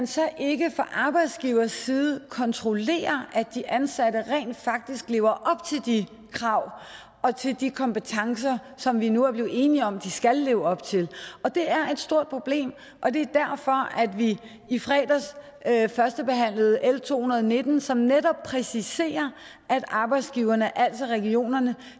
så ikke fra arbejdsgivers side kontrollerer at de ansatte rent faktisk lever op til de krav og til de kompetencer som vi nu er blevet enige om at de skal leve op til det er et stort problem og det er derfor at vi i fredags førstebehandlede l to hundrede og nitten som netop præciserer at arbejdsgiverne altså regionerne